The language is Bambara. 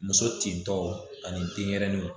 Muso tin tɔw ani denɲɛrɛninw